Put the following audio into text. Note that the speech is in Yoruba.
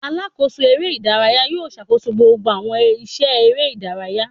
Alakoso eré idàráyá yóò ṣakoso gbogbo awọn iṣẹ eré idàráyá.